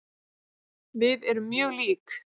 Við erum mjög lík.